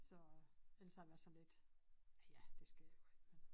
Så ellers har jeg været sådan lidt ja ja det sker jo ikke men